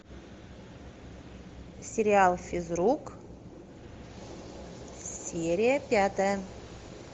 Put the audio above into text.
сериал физрук серия пятая